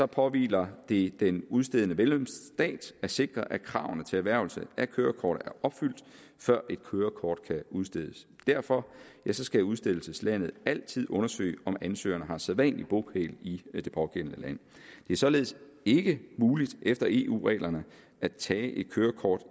påhviler det den udstedende medlemsstat at sikre at kravene til erhvervelse af kørekort er opfyldt før et kørekort kan udstedes derfor skal udstedelseslandet altid undersøge om ansøgeren har sædvanlig bopæl i det pågældende land det er således ikke muligt efter eu reglerne at tage et kørekort